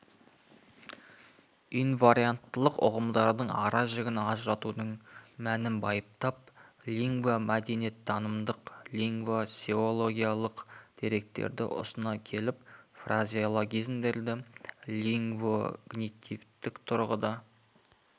инварианттылық ұғымдарының аражігін ажыратудың мәнін байыптап лингвомәдениеттанымдық лингвогносеологиялық деректерді ұсына келіп фразеологизмдерді лингвокогнитивтік тұрғыда